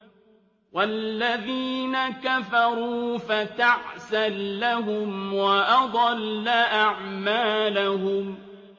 وَالَّذِينَ كَفَرُوا فَتَعْسًا لَّهُمْ وَأَضَلَّ أَعْمَالَهُمْ